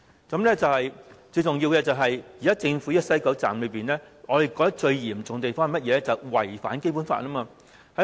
最嚴重的問題是，現時政府的西九站"一地兩檢"安排違反《基本法》。